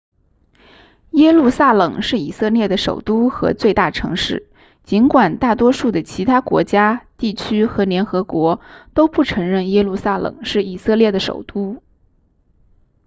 耶路撒冷是以色列的首都和最大城市尽管大多数的其他国家地区和联合国都不承认耶路撒冷是以色列的首都